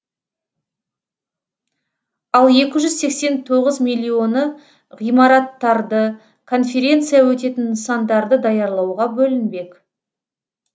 ал екі жүз сексен тоғыз миллионы ғимараттарды конференция өтетін нысандарды даярлауға бөлінбек